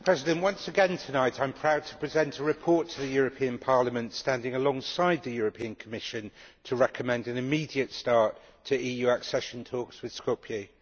Mr President, once again, tonight I am proud to present a report to the European Parliament, standing alongside the European Commission, to recommend an immediate start to EU accession talks with Skopje.